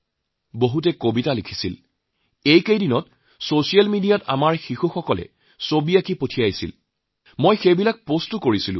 বহুতে কবিতা লিখেছে আমাৰ সৰু সৰু বন্ধুসকলে সৰু সৰু লৰাছোৱালীয়ে যিবোৰ ছবি পঠাইছে মই আজি কালি সেইবোৰকে ছচিয়েল মিডিয়াত পোষ্ট কৰিছোঁ